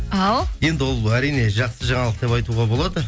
ал енді ол әрине жақсы жаңалық деп айтуға болады